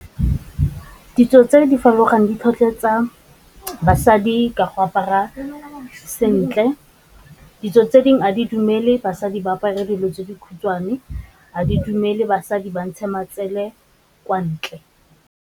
Ditso tse di farologaneng di tlhotlheletsa basadi ka go apara sentle, ditso tse dingwe a di dumele basadi ba apara dilo tse dikhutshwane, ga di dumele basadi ba ntshe matsele kwa ntle.